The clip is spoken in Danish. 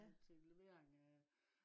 og til levering af